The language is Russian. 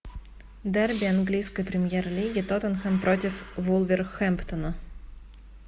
дерби английской премьер лиги тоттенхэм против вулверхэмптона